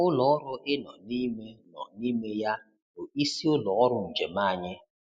Ụlọ ọrụ ị nọ n'ime nọ n'ime ya bụ isi ụlọ ọrụ njem anyị.